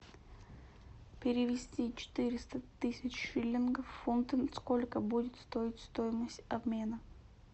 перевести четыреста тысяч шиллингов в фунты сколько будет стоить стоимость обмена